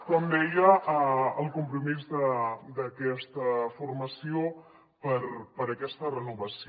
com deia el compromís d’aquesta formació per aquesta renovació